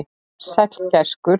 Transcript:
Sæll gæskur.